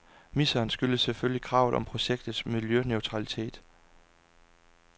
Miseren skyldes selvfølgelig kravet om projektets miljøneutralitet.